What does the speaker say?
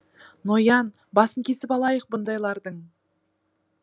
ноян басын кесіп алайық бұндайлардың